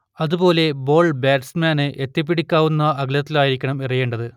അതുപോലെ ബോൾ ബാറ്റ്സ്മാന് എത്തിപ്പിടിക്കാവുന്ന അകലത്തിലായിരിക്കണം എറിയേണ്ടത്